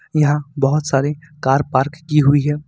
यहां बहुत सारी कार पार्क की हुई है।